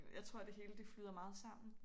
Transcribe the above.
Jeg tror det hele det flyder meget sammen